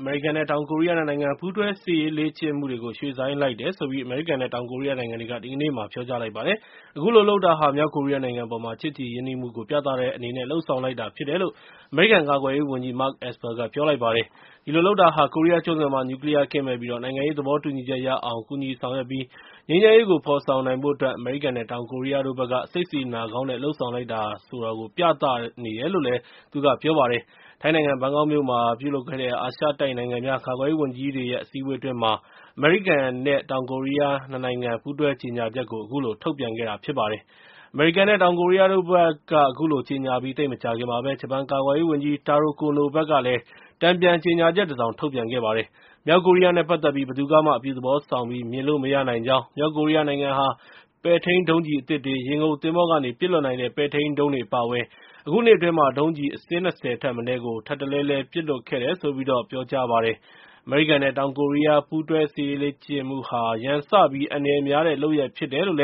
အမေရိကန်နဲ့ တောင်ကိုရီးယား ၂ နိုင်ငံ ပူးတွဲစစ်ရေးလေ့ကျင့်မှုတွေကို ရွှေ့ဆိုင်းလိုက်တယ်လို့ အမေရိကန်နဲ့ တောင်ကိုရီးယားနိုင်ငံတွေက ဒီကနေ့မှာ ပြောကြားလိုက်ပါတယ်။ အခုလိုလုပ်တာဟာ မြောက်ကိုရီးယားနိုင်ငံအပေါ်မှာ ချစ်ကြည်ရင်းနှီးမှုကို ပြသတဲ့အနေနဲ့ လုပ်ဆောင်လိုက်တာဖြစ်တယ်လို့ အမေရိကန် ကာကွယ်ရေးဝန်ကြီး Mark Esper က ပြောလိုက်ပါတယ်။ အခုလိုလုပ်တာက ကိုရီးယားကျွန်းဆွယ်မှာ နျူးကလီးယားကင်းမဲ့ပြီး နိုင်ငံရေး သဘောတူညီချက်ရအောင် ကူညီဆောင်ရွက်ပြီးတော့ ငြိမ်းချမ်းရေးကို ဖော်ဆောင်နိုင်ဖို့အတွက် အမေရိကန်နဲ့ တောင်ကိုရီးယားနိုင်ငံတို့ဘက်က စိတ်စေတနာကောင်းနဲ့ လုပ်ဆောင်လိုက်တယ်ဆိုတာကို ပြသနေတယ်လို့ သူကပြောပါတယ်။ ထိုင်းနိုင်ငံ ဘန်ကောက်မြို့မှာ ပြုလုပ်ခဲ့တဲ့ အာရှတိုက်နိုင်ငံများ ကာကွယ်ရေးဝန်ကြီးတွေရဲ့ အစည်းအဝေးအတွင်း အမေရိကန်နဲ့ တောင်ကိုရီးယား ၂ နိုင်ငံ ပူးတွဲကြေညာချက်ကို ထုတ်ပြန်ခဲ့တာဖြစ်ပါတယ်။ အမေရိကန်နဲ့ တောင်ကိုရီးယားတို့ဘက်က အခုလို ကြေညာလိုက်ပြီး သိပ်မကြာခင်မှာပဲ ဂျပန်ကာကွယ်ရေးဝန်ကြီး Taro Kono ဘက်က တန်ပြန်ကြေညာချက်တစောင် ထုတ်ပြန်ခဲ့ပါတယ်။ မြောက်ကိုရီးယားနဲ့ ပတ်သက်ပြီး ဘယ်သူကမှ အပြုသဘောဆောင်ပြီး မြင်လို့မရနိုင်ကြောင်း၊ မြောက်ကိုရီးယားနိုင်ငံဟာ ပဲ့ထိန်းဒုံးကျည်အသစ်တွေ၊ ရေငုပ်သင်္ဘောကနေ ပစ်လွှတ်နိုင်တဲ့ ပဲ့ထိန်းဒုံးတွေ အပါအဝင် အခုနှစ်အတွင်း ဒုံးကျည်အစင်း ၂၀ ထက်မနည်း ထပ်တလဲလဲ ပစ်လွှတ်ခဲ့တယ်လို့ ပြောကြားလိုက်ပါတယ်။ အမေရိကန်နဲ့ တောင်ကိုရီးယား ပူးတွဲစစ်ရေးလေ့ကျင့်မှုဟာ ရန်စပြီး အန္တရာယ်များတဲ့လုပ်ရပ် ဖြစ်တယ်လို့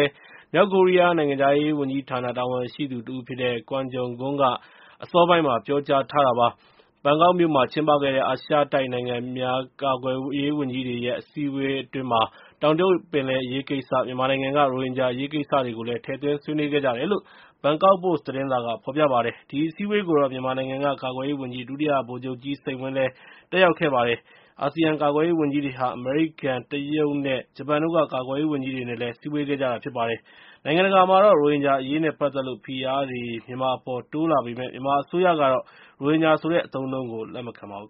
မြောက်ကိုရီးယား နိုင်ငံခြားရေး ဝန်ကြီးဌာနက တာဝန်ရှိသူတဦးဖြစ်တဲ့ Kwon Jong Gun က အစောပိုင်းမှာ ပြောကြားခဲ့ပါတယ်။ ဘန်ကောက်မြို့မှာကျင်းပတဲ့ အာရှနိုင်ငံများ ကာကွယ်ရေးဝန်ကြီးတွေရဲ့ အစည်းအဝေးအတွင်း တောင်တရုတ်ပင်လယ်အရေးကိစ္စနဲ့ မြန်မာနိုင်ငံက ရိုဟင်ဂျာအရေးကိစ္စတွေကို ထည့်သွင်းဆွေးနွေးခဲ့ကြတယ်လို့ ဘန်ကောက်ပို့စ် သတင်းစာမှာ ဖော်ပြပါတယ်။ ဒီအစည်းအဝေးကို မြန်မာနိုင်ငံက ကာကွယ်ရေးဝန်ကြီး ဒုတိယဗိုလ်ချုပ်ကြီး စိန်ဝင်းလည်း တတ်ရောက်ခဲ့ပါတယ်။ အာဆီယံ ကာကွယ်ရေးဝန်ကြီးတွေဟာ အမေရိကန်၊ တရုတ်နဲ့ ဂျပန်တို့က ကာကွယ်ရေးဝန်ကြီးတွေနဲ့လည်း စည်းဝေးခဲ့ကြတာ ဖြစ်ပါတယ်။ နိုင်ငံတကာမှာတော့ ရိုဟင်ဂျာအရေးနဲ့ပတ်သက်လို့ ဖိအားတွေ မြန်မာအပေါ် တိုးလာပေမယ့် မြန်မာအစိုးရကတော့ ရိုဟင်ဂျာဆိုတဲ့ အသုံးအနှုန်းကို လက်မခံပါဘူး